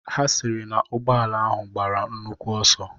Ha sịrị na ụgbọala ahụ gbara nnukwu ọsọ.